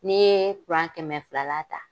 N'i ye kɛmɛ fila la ta.